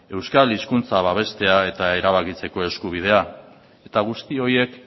euskal hizkuntza babestea eta erabakitzeko eskubidea eta guzti horiek